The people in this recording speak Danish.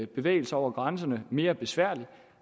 bevægelser over grænserne mere besværlige